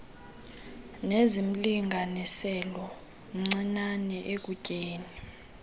nezimlinganiselo mncinane ekutyeni